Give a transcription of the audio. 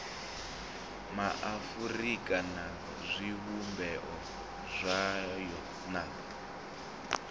maafurika na zwivhumbeo zwayo na